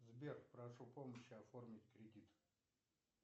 сбер прошу помощи оформить кредит